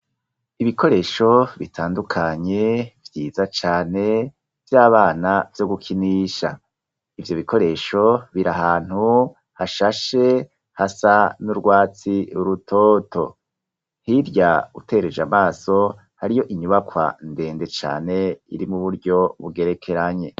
Ibikoresho bitandukanye, vyiza cane, vy'abana, vyo gukinisha, ivyo bikoresho, biri ahantu hashashe, hasa n'urwatsi rutoto, hirya utereje amaso, hariyo inyubakwa ndende cane, iri mu buryo bugerekeranye.